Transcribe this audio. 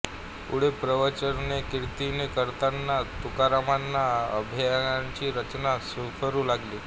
पुढे प्रवचनेकीर्तने करताना तुकारामांना अभंगांची रचना स्फुरू लागली